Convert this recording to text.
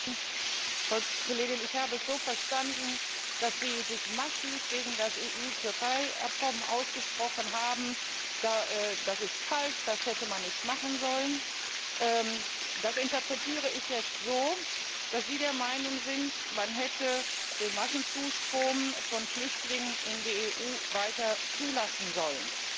Frau Kollegin, ich habe es so verstanden, dass Sie sich massiv gegen das EU Türkei-Abkommen ausgesprochen haben Das sei falsch, das hätte man nicht machen sollen. Das interpretiere ich jetzt so, dass Sie der Meinung sind, man hätte den Massenzustrom von Flüchtlingen in die EU weiter zulassen sollen.